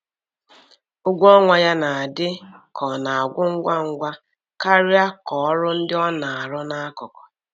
Ụgwọ ọnwa ya na-adị ka ọ na-agwụ ngwa ngwa karịa ka ọrụ ndi ona aru na akuku.